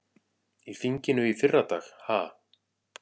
Í þinginu í fyrradag ha?